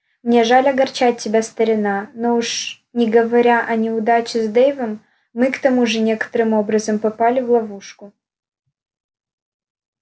мне жаль огорчать тебя старина но уж не говоря о неудаче с дейвом мы к тому же некоторым образом попали в ловушку